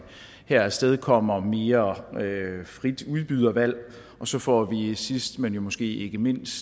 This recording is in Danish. her afstedkommer mere frit udbydervalg og så får vi vi sidst men jo måske ikke mindst